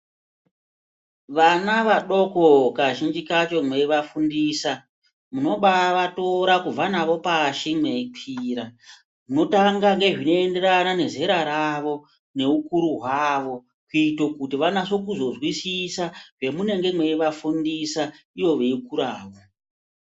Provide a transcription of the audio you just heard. Vana vadoko kazhinji kacho veivafundisa mukovatora kubva navo pashi veikwira motanga nezvinoenderana mezera rawo neukuru hwawo kuita kuti vanyase kuzozwisisa zvamunenge meivafundisa ivo veikurawo.